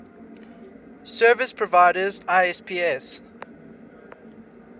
service providers isps